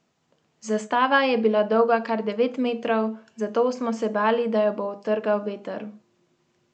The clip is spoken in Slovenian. Zastava je bila dolga kar devet metrov, zato smo se bali, da jo bo odtrgal veter.